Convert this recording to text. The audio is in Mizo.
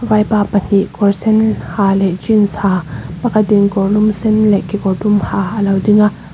vaipa pahnih kawr sen ha leh jeans ha pakhatin kawrlum sen leh kekawr dum ha alo ding a.